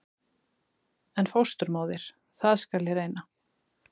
En fósturmóðir- það skal ég reyna.